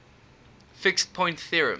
fixed point theorems